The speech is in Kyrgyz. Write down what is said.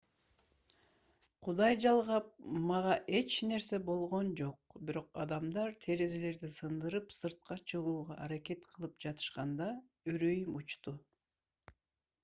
кудай жалгап мага эч нерсе болгон жок бирок адамдар терезелерди сындырып сыртка чыгууга аракет кылып жатышканда үрөйүм учту